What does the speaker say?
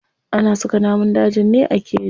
Ana saka namun dajin ne a keji.